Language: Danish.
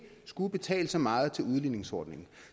skulle betale så meget til udligningsordningen